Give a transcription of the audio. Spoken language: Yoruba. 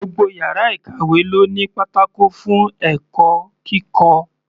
Gbogbo yàrá ìkàwé ló ní pátákó fún ẹ̀kọ́ kíkọ́.